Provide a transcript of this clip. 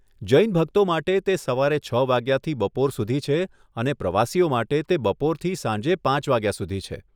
જૈન ભક્તો માટે તે સવારે છ વાગ્યાથી બપોર સુધી છે અને પ્રવાસીઓ માટે તે બપોરથી સાંજે પાંચ વાગ્યા સુધી છે.